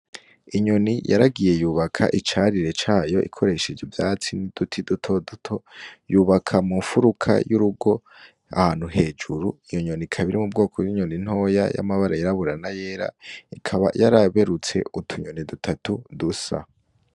Inyoni yaragiye yubaka icarire cayo ikoresheje ivyatsi n'uduti dutoduto yubaka mu nfuruka y'urugo ahantu hejuru iyo nyoni ikaba iri mu bwoko bw'inyoni ntoyi y'amabara y'irabura n'ayera ikaba yaraberuye utu nyoni dutatu dusa.